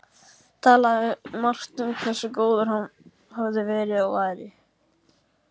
Talaði margt um hversu góður hann hefði verið- og væri